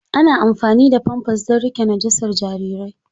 Ana amfani da famfas don riƙe najasar jarirai.